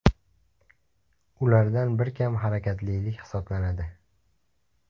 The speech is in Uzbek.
Ulardan biri kam harakatlilik hisoblanadi.